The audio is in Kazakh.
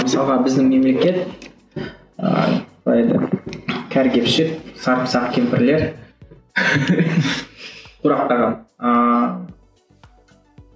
мысалға біздің мемлекет ыыы қалай айтады кәрі кепшік кемпірлер тұрақтаған ыыы